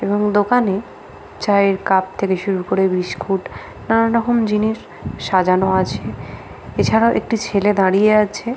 এবং দোকানে চায়ের কাপ থেকে শুরু করে বিস্কুট নানা রকম জিনিস সাজানো আছে এছাড়াও একটি ছেলে দাঁড়িয়ে আছে।